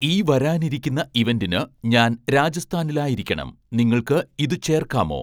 ഈ വരാനിരിക്കുന്ന ഇവൻ്റിന് ഞാൻ രാജസ്ഥാനിലായിരിക്കണം നിങ്ങൾക്ക് ഇത് ചേർക്കാമോ